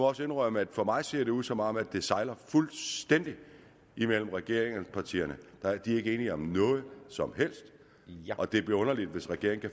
også indrømme at for mig ser det ud som om det sejler fuldstændig imellem regeringspartierne de er ikke enige om noget som helst og det bliver underligt hvis regeringen